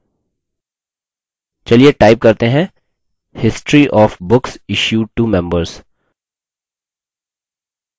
चलिए type करते हैं हैं history of books issued to members